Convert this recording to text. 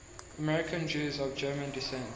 american jews of german descent